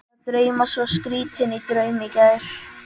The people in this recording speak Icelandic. Mig var að dreyma svo skrýtinn draum í gær.